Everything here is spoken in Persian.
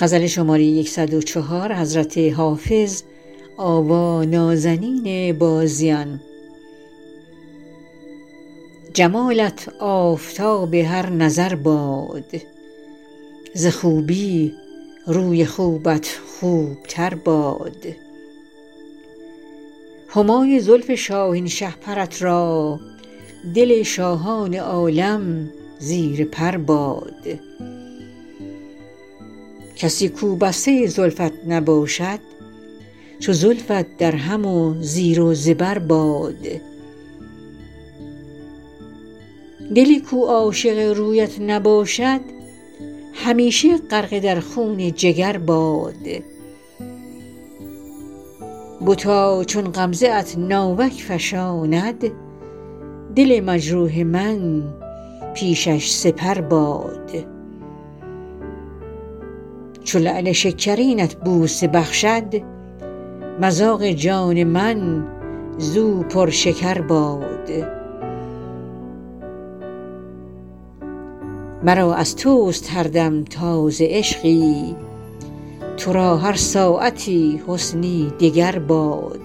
جمالت آفتاب هر نظر باد ز خوبی روی خوبت خوب تر باد همای زلف شاهین شهپرت را دل شاهان عالم زیر پر باد کسی کو بسته زلفت نباشد چو زلفت درهم و زیر و زبر باد دلی کو عاشق رویت نباشد همیشه غرقه در خون جگر باد بتا چون غمزه ات ناوک فشاند دل مجروح من پیشش سپر باد چو لعل شکرینت بوسه بخشد مذاق جان من زو پرشکر باد مرا از توست هر دم تازه عشقی تو را هر ساعتی حسنی دگر باد